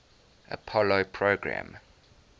apollo program